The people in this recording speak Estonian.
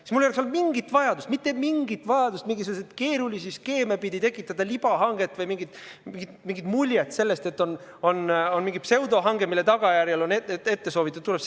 Siis mul ei oleks olnud mingit vajadust, mitte mingit vajadust mingisuguseid keerulisi skeeme pidi tekitada libahanget või mingit muljet sellest, et on mingi pseudohange, mille tagajärjel saab soovitud tulemuse.